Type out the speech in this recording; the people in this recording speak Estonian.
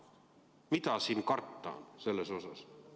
Mida siin karta on?